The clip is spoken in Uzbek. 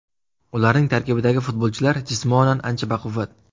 Ularning tarkibidagi futbolchilar jismonan ancha baquvvat.